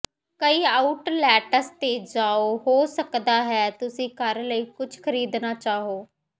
ਕਈ ਆਊਟਲੇਟਸ ਤੇ ਜਾਓ ਹੋ ਸਕਦਾ ਹੈ ਤੁਸੀਂ ਘਰ ਲਈ ਕੁਝ ਖਰੀਦਣਾ ਚਾਹੋ